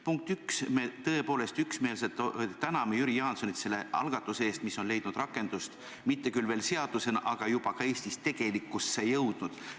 Punkt üks, me tõepoolest üksmeelselt täname Jüri Jaansoni selle algatuse eest, mis on leidnud rakendust, mitte küll veel seadusena, aga juba ka Eestis tegelikkusse jõudnud.